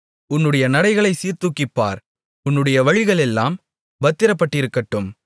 உன்னுடைய நடைகளைச் சீர்தூக்கிப்பார் உன்னுடைய வழிகளெல்லாம் பத்திரப்பட்டிருக்கட்டும்